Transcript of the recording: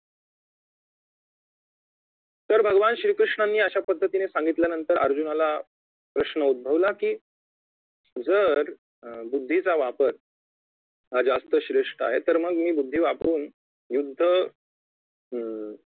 तर भगवान श्री कृष्णांनी अशापद्धतीने सांगितल्यानंतर अर्जुनाला प्रश्न उध्दभवला कि जर अं बुद्धीचा वापर हा जास्त श्रेष्ठ आहे तर मग मी बुद्धी वापरुन युद्ध अं